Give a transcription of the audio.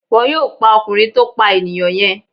Wọ́n yóò pa ọkùnrin tó pà enìyàn yen